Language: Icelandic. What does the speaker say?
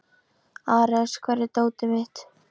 Ares, hvar er dótið mitt?